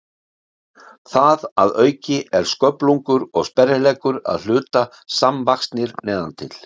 Það að auki er sköflungur og sperrileggur að hluta samvaxnir neðan til.